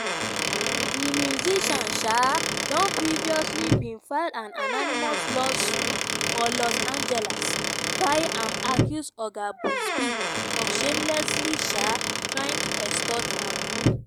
di musician um don previously bin file an anonymous lawsuit for los angeles wia im accuse oga buzbee of "shamelessly" um trying to extort am.